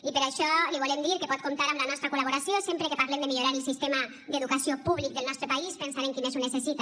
i per això li volem dir que pot comptar amb la nostra col·laboració sempre que parlem de millorar el sistema d’educació públic del nostre país pensant en qui més ho necessita